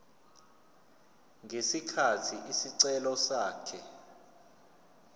ngesikhathi isicelo sakhe